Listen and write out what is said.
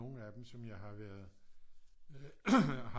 Nogle af dem som jeg har været